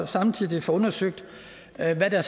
samtidig får undersøgt hvad der